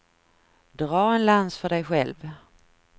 Dra en lans för dej själv.